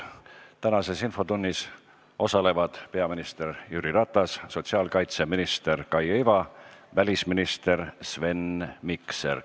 Tänases infotunnis osalevad peaminister Jüri Ratas, sotsiaalkaitseminister Kaia Iva ja välisminister Sven Mikser.